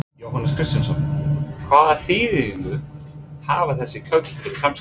Jóhannes Kristjánsson: Hvaða þýðingu hafa þessi kaup fyrir Samskip?